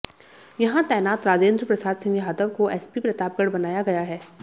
यहां तैनात राजेन्द्र प्रसाद सिंह यादव को एसपी प्रतापगढ़ बनाया गया है